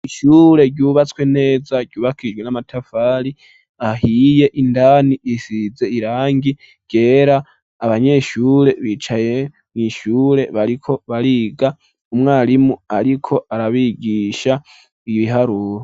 Ishure ryubatswe neza ryubakishijwe n'amatafari ahiye, indani risize irangi ryera, abanyeshure baricaye bariko bariga, umwarimu ariko arabigisha ibiharuro.